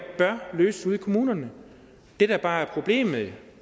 bør løses ude i kommunerne det der bare er problemet